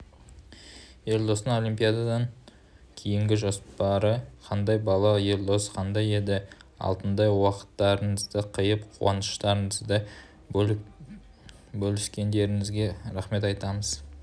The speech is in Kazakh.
елдостың олимпиададан кейінгі жоспарлары қандай бала елдос қандай еді алтындай уақыттарыңызды қиып қуаныштарыңызды бөліскендеріңізге рақмет айтамыз